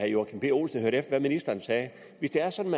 joachim b olsen hørte efter hvad ministeren sagde hvis det er sådan